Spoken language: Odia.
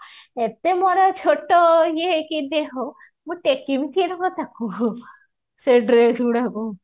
ଏତେ ବଡ ଇଏ ଛୋଟ ଦେହ ମୁଁ ଟେକିବୀ କେ ରକମ ତାକୁ ସେ dress ଗୁଡାକୁ